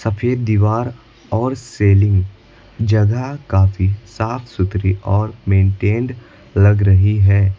सफेद दीवार और सेलिंग जगह काफी साफ सुथरी और मेंटेंड लग रही है।